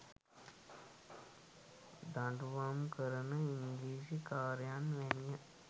දඩුවම් කරන ඉංග්‍රීසි කාරයන් වැනිය.